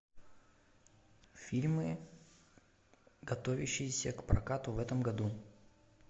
фильмы готовящиеся к прокату в этом году